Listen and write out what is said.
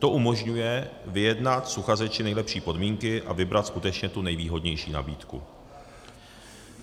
To umožňuje vyjednat s uchazeči nejlepší podmínky a vybrat skutečně tu nejvýhodnější nabídku.